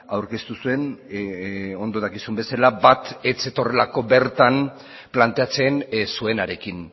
aurkeztu zuen ondo dakizun bezala bat ez zetorrelako bertan planteatzen zuenarekin